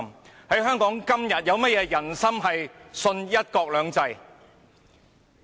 然而，在香港，今天有何"人心"相信"一國兩制"？